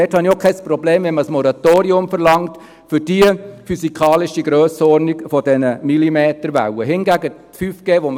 Dort habe ich auch kein Problem, wenn man für die physikalische Grössenordnung dieser Millimeterwellen ein Moratorium verlangt.